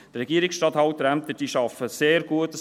Die Regierungsstatthalterämter arbeiten sehr gut.